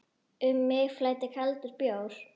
Um mig flæddi kaldur bjór.